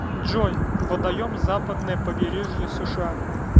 джой водоем западное побережье сша